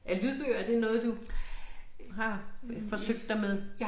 Er lydbøger er det noget du har forsøgt dig med?